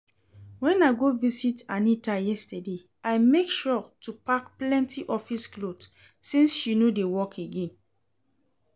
When I go visit Anita yesterday I make sure to pack plenty office cloth since she no dey work again